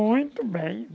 Muito bem.